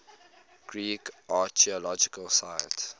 greek archaeological sites